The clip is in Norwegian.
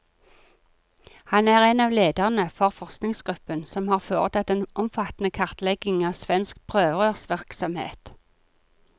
Han er en av lederne for forskergruppen som har foretatt den omfattende kartleggingen av svensk prøverørsvirksomhet.